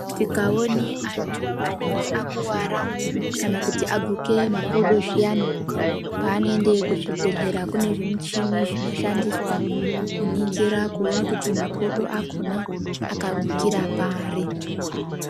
Tikaone antu anenge akuwara kana kuti aguke makodo zviyani, paanoende kuzvibhedhlera kune zvimuchini zvinoshandiswa kuningira kuone kuti makodo akhona akagukira pari.